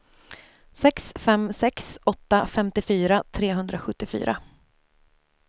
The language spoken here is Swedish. sex fem sex åtta femtiofyra trehundrasjuttiofyra